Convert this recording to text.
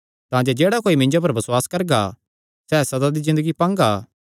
तांजे जेह्ड़ा कोई मिन्जो पर बसुआस करगा सैह़ सदा दी ज़िन्दगी पांगा